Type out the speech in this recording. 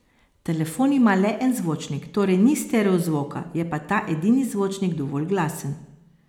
Telefon ima le en zvočnik, torej ni stereozvoka, je pa ta edini zvočnik dovolj glasen.